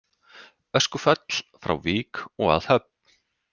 Öskufall frá Vík og að Höfn